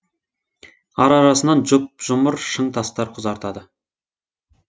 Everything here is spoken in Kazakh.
ара арасынан жұп жұмыр шың тастар құзартады